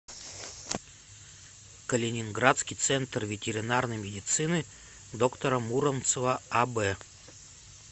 калининградский центр ветеринарной медицины доктора муромцева аб